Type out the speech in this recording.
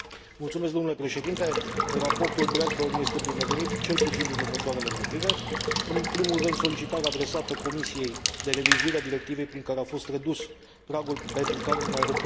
Raportul Bradbourn este binevenit, cel puțin din următoarele motive În primul rând, solicitarea adresată Comisiei de revizuire a directivei prin care a fost redus pragul pentru care un aeroport poate primi ajutor de stat.